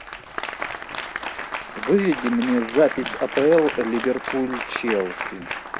выведи мне запись апл ливерпуль челси